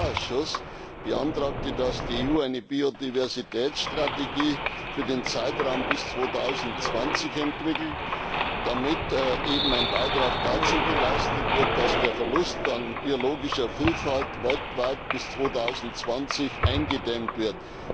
Der Agrarausschuss beantragt, dass die EU eine Biodiversitätsstrategie für den Zeitraum bis 2020 entwickelt, damit ein Beitrag dazu geleistet wird, dass der Verlust an biologischer Vielfalt weltweit bis 2020 eingedämmt wird.